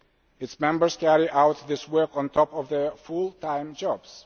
Its members carry out this work on top of their full time jobs.